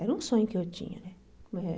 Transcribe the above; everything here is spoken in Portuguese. Era um sonho que eu tinha, né?